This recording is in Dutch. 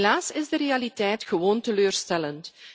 Helaas is de realiteit gewoon teleurstellend.